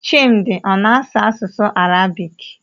Chimdi ọ na-asụ asụsụ Arabik?